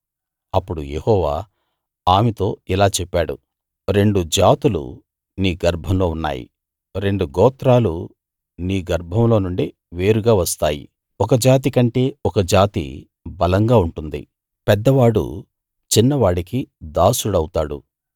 అప్పుడు యెహోవా ఆమెతో ఇలా చెప్పాడు రెండు జాతులు నీ గర్భంలో ఉన్నాయి రెండు గోత్రాలు నీ గర్భంలో నుండే వేరుగా వస్తాయి ఒక జాతి కంటే ఒక జాతి బలంగా ఉంటుంది పెద్దవాడు చిన్నవాడికి దాసుడవుతాడు